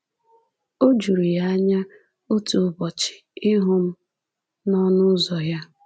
O juru ya anya otu ụbọchị ịhụ m n’ọnụ ụzọ ya!